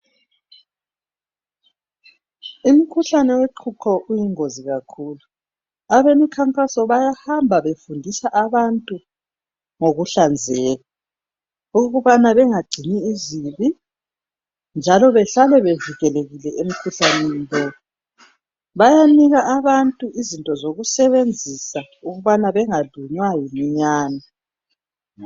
Umkhuhlane woqhuqho uyingozi kakhulu. Abemkhankaso bayahamba befundisa abantu ngokuhlanzeka, ukubani bengangcini izibi njalo behlale bevikelekile emkhuhlaneni lowo. Bayanika abantu izinto zokusebenzisa ukubana bengalunywa yiminyane.